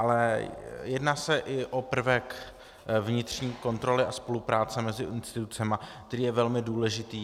Ale jedná se i o prvek vnitřní kontroly a spolupráce mezi institucemi, který je velmi důležitý.